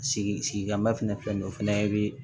Sigi sigikma fɛnɛ filɛ nin ye o fɛnɛ be